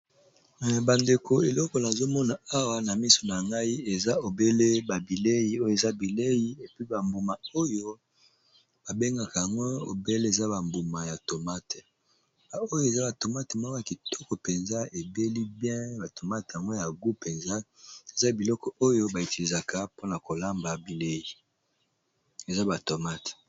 Bandeko, eloko nazo mona awa na miso na ngai, eza obele ba bilei oyo eza bilei. Ba mbuma oyo, ba bengaka yango obele eza bambuma ya tomate. Oyo eza ba tomate moko ya kitoko mpenza ebeli bien. Ba tomate yango ya gu mpenza. Eza biloko oyo ba itilîzaka mpona kolamba bilei, eza batomate.